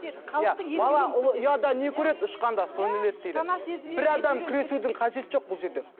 бала ұлы ұяда не көреді ұшқанда соны іледі дейді сана бір адам күресудің қажеті жоқ бұл жерде